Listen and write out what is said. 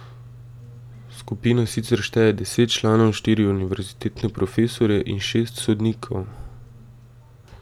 Skupina sicer šteje deset članov, štiri univerzitetne profesorje in šest sodnikov.